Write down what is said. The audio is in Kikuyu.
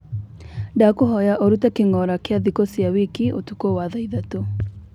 ndakuhoya urute kingora kia thiku cia wiki utuko wa tha ithatu